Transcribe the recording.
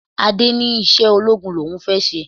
Adé ní iṣẹ́ ológun l'òun fẹ́ ṣe.